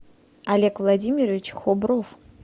олег владимирович хобров